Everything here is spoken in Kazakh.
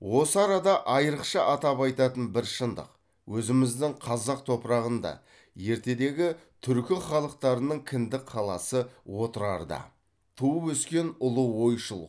осы арада айырықша атап айтатын бір шындық өзіміздің қазақ топырағында ертедегі түркі халықтарының кіндік қаласы отырарда туып өскен ұлы ойшыл